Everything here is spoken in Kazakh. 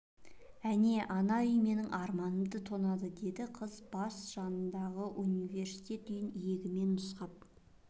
әне ана үй менің арманымды тонады деді қыз бас жанындағы университет үйін иегімен нұсқап